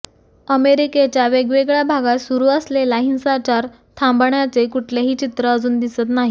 अमेरिकेच्या वेगवेगळ्या भागात सुरु असलेला हिंसाचार थांबण्याचे कुठलेही चित्र अजून दिसत नाही